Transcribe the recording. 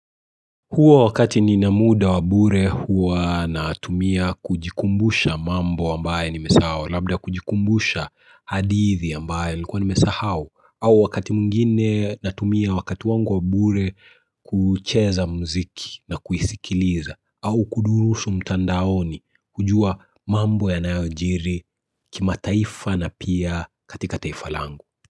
Huwa wakati nina muda wa bure huwa natumia kujikumbusha mambo ambaye nimesahau labda kujikumbusha hadithi ambaye nilikuwa nimesahau au wakati mwingine natumia wakati wangu wa bure kucheza mziki na kuisikiliza au kudurusu mtandaoni kujua mambo yanayojiri kimataifa na pia katika taifa langu.